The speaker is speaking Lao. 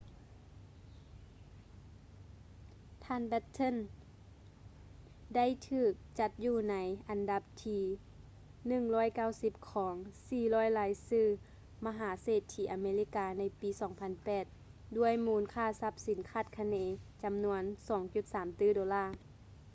ທ່ານ ແບັດເທິນ batten ໄດ້ຖືກຈັດຢູ່ໃນອັນດັບທີ 190 ຂອງ 400 ລາຍຊື່ມະຫາເສດຖີອາເມລິກາ ໃນປີ 2008 ດ້ວຍມູນຄ່າຊັບສິນຄາດຄະເນ ຈຳນວນ 2.3 ຕື້ໂດລາ